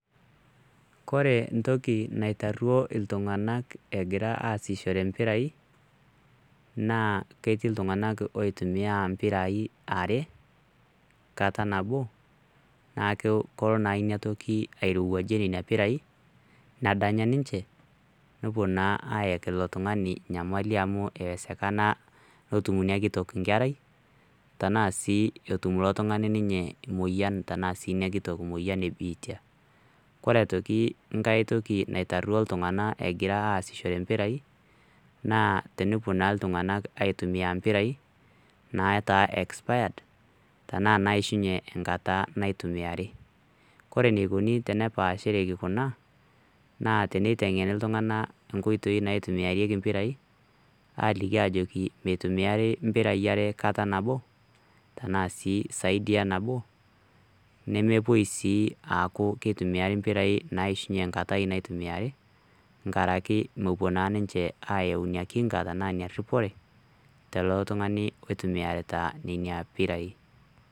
kore ntoki naitarruo iltung'anak egira asishore mpirai naa ketii iltung'anak oitumia mpirai are kata nabo naa kolo naa inatoki airowuajie nena pirai nadanya ninche nepuo naa ayaki ilo tung'ani nyamali amu eesekana netum inia kitok nkerai tenaa sii etum ilo tung'ani ninye moyian tenaa sii inakitok moyian ebiitia kore aitoki nkae toki naitarruo iltung'anak egira asishore impirai naa tenepuo naa iltung'anak aitumia impirai nataa expired[cs tenaa naishunye enkata naitumiari kore enikoni tenepaashereki kuna naa teneiteng'eni iltung'anak nkoitei naitumiareki mpirai aliki ajo meitumiari mpirai are kata nabo tenaa sii saidi enabo nemepuoi sii aaku keitumiari mpirai naishunye nkatai naitumiari nkaraki mepuo naa ninche ayau ina kinga tenia ina rripore tilo tung'ani oitumiarita nenia pirai.